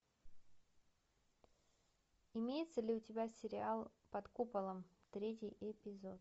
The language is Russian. имеется ли у тебя сериал под куполом третий эпизод